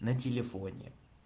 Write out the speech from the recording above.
на телефоне